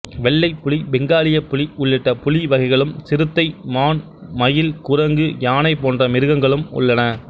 வெள்ளைப் புலி பெங்காலியப் புலி உள்ளிட்ட புலி வகைகளும் சிறுத்தை மான் மயில் குரங்கு யானை போன்ற மிருகங்களும் உள்ளன